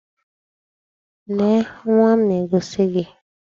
Lee nwa m na-egosi gi!